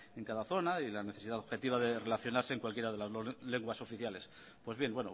en cada zona y la necesidad objetiva de relacionarse en cualquiera de las dos lenguas oficiales pues bien